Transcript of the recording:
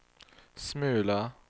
smula